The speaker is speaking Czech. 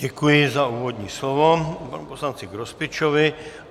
Děkuji za úvodní slovo panu poslanci Grospičovi.